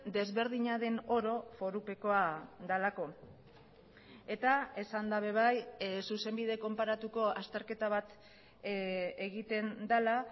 desberdina den oro forupekoa delako eta esan da ere bai zuzenbide konparatuko azterketa bat egiten dela